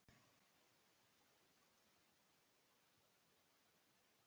Amma sýndi okkur bæinn sem hún fæddist í.